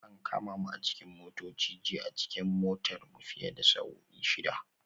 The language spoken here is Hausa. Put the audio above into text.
An kama mu a cikin motoci jiya a cikin motar mu fiye da sa'o'i shida